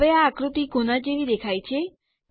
હવે આ આકૃતિ કોના જેવી દેખાય છે